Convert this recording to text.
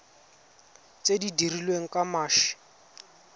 tse di dirilweng ka mashi